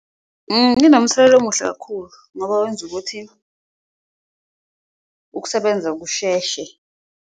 Inomthelela omuhle kakhulu ngoba wenza ukuthi ukusebenza kusheshe.